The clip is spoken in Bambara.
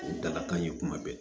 O ye dalakan ye kuma bɛɛ